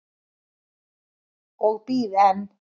Og bíð enn.